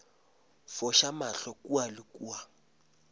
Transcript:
foša mahlo kua le kua